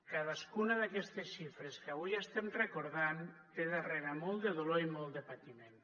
cadascuna d’aquestes xifres que avui estem recordant té darrere molt de dolor i molt de patiment